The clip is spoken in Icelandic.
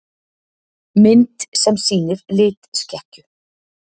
Mynd sem sýnir litskekkju.